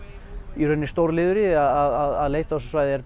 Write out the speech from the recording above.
í raun stór liður í því að leita á þessu svæði er